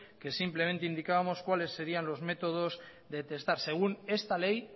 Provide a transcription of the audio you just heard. que simplemente indicábamos cuáles serían los métodos de testar según esta ley